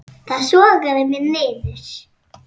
Það sogaði mig niður.